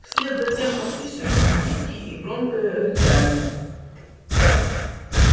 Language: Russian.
вслед за тем послышались визги и громкое рычание